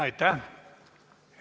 Aitäh!